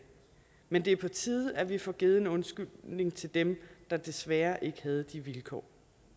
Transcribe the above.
men det er på tide at vi får givet en undskyldning til dem der desværre ikke havde de vilkår